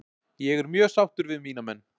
Ég er mjög sáttur við mína menn.